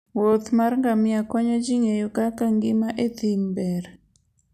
wuoth mar ngamia konyo ji ng'eyo kaka ngima e thim ber.